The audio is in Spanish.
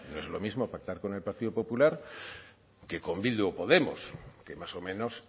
es lo mismo pactar con el partido popular que con bildu o podemos que más o menos